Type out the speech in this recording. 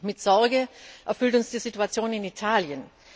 Mit Sorge erfüllt uns die Situation in Italien.